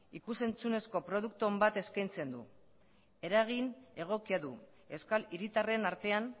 ikus entzunezko produktu on bat eskaintzen du eragin egokia du euskal hiritarren artean